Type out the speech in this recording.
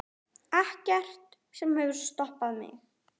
Ekkert sem hefur stoppað mig.